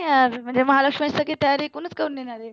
आज म्हणजे महालक्ष्मी ची तयारी कडूनच करून नेणार आहे.